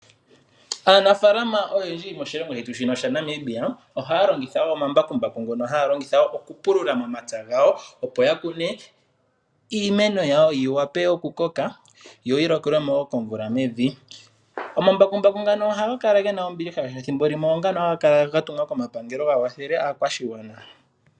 Aanafalama oyendji moshilongo shetu shino shaNamibia ohaya longitha omambakumbaku okupulula omapya gawo opo ya kune iimeno yawo yi wape okukoka yoyi lokelwe mo komvula mevi. Omambakumbaku ngano ohaga kala ge na ombiliha, oshoka ethimbo limwe oongano haga kala ga tumwa komapangelo ga kwathele aakwashigwana.